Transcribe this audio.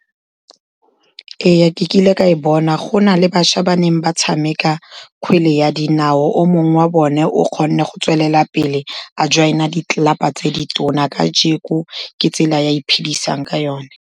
Ee, ke kile ka e bona, go na le bašwa ba neng ba tshameka kgwele ya dinao, o mongwe wa bone o kgone go tswelelapele a join-a ditlelapa tse di tona, kajeko ke tsela ya iphidisang ka yone.